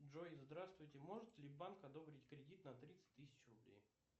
джой здравствуйте может ли банк одобрить кредит на тридцать тысяч рублей